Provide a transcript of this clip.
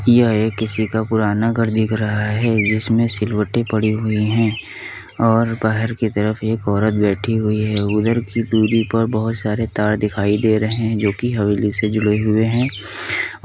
यहाॅं पर किसी का एक पुराना घर दिख रहा है जिसमें सिलबट्टी पड़ी हुई है और बाहर की जगह पर एक औरत बैठी हुई हैं उधर की दूरी पर बहोत सारे तार दिखाई दे रहे हैं जो की हवेली से जुड़े हुए हैं ।